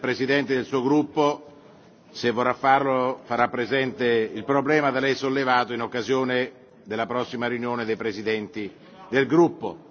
Il presidente del suo gruppo, se vorrà farlo, farà presente il problema da lei sollevato in occasione della prossima riunione dei presidenti del gruppo.